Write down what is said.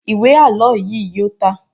Ìwé àlọ́ yíì yóò tà.